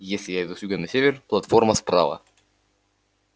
если я иду с юга на север платформа справа